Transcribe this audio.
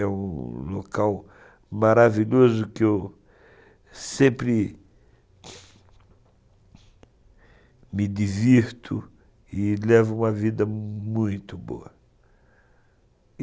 É um local maravilhoso que eu sempre me divirto e levo uma vida muito boa.